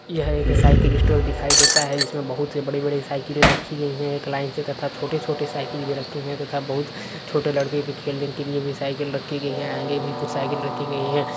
यह एक cycle store दिखाई देता है जिसमें बहुत ही बड़े-बड़े साइकिलें रखी गई हैं। एक लाईन से तथा छोटे-छोटे साइकिल भी रखे हैं तथा बहोत छोटे लड़के के खेलने के लिए भी साइकिल रखी गई हैं। आगे भी कुछ साइकिल रखी गई हैं।